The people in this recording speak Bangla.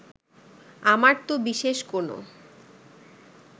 আমার তো বিশেষ কোনো